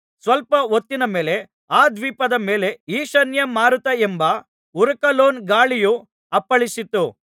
ಸ್ವಲ್ಪ ಹೊತ್ತಿನಮೇಲೆ ಆ ದ್ವೀಪದ ಮೇಲೆ ಈಶಾನ್ಯ ಮಾರುತ ಎಂಬ ಉರಕಲೋನ್ ಗಾಳಿಯು ಅಪ್ಪಳಿಸಿತು